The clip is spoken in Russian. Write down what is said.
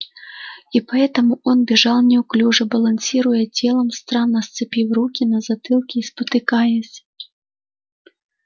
и поэтому он бежал неуклюже балансируя телом странно сцепив руки на затылке и спотыкаясь